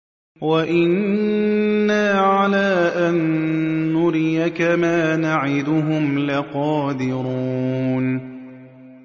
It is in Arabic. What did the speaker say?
وَإِنَّا عَلَىٰ أَن نُّرِيَكَ مَا نَعِدُهُمْ لَقَادِرُونَ